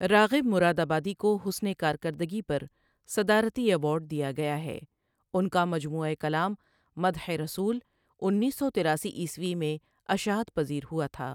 راغب مرادآبادی کو حسن کارکردگی پر صدارتی ایوارڈ دیا گیا ہے ان کا مجموعہ کلام مدح رسول انیس سو تراسی عیسوی میں اشاعت پزیر ہوا تھا ۔